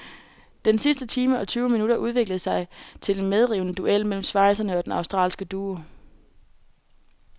Den sidste time og tyve minutter udviklede sig til en medrivende duel mellem schweizerne og den australsk duo.